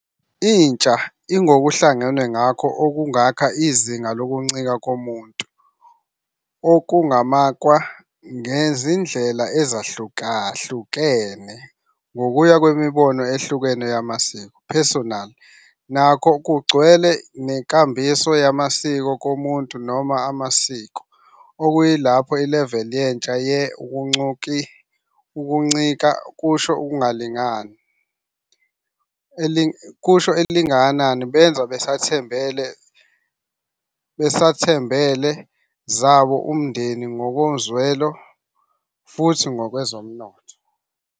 Intsha ingokuhlangenwe nakho okungakha izinga lokuncika komuntu, okungamakwa ngezindlela ezahlukahlukene ngokuya ngemibono ehlukene yamasiko. Personal nakho kugcwele nenkambiso yamasiko komuntu noma amasiko, kuyilapho level yentsha ye ukuncika kusho elingakanani benza basathembele zabo umndeni ngokomzwelo futhi kwezomnotho.